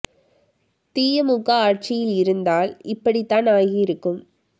தீய மு க ஆட்சியில் இருந்தால் இப்படி தான் ஆகி இருக்கும்